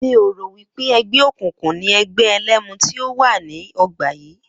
Mi ò rò wí pé e̩gbé̩ òkùnkùn ni e̩gbé̩ e̩lé̩mu tí ó wà ní o̩gbà wa